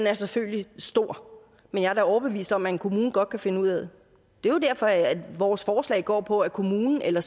er selvfølgelig stor men jeg er da overbevist om at en kommune godt kan finde ud af det det er jo derfor at vores forslag går på at kommunen eller